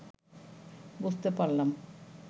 বুঝতে পারলাম